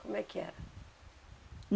Como é que era?